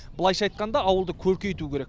былайша айтқанда ауылды көркейту керек